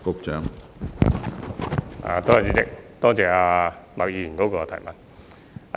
主席，多謝麥議員的補充質詢。